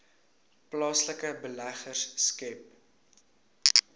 plaaslike beleggers skep